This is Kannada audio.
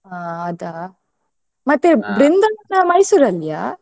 ಹಾ ಅದಾ ಮತ್ತೆ Mysore ಅಲ್ಲಿಯ?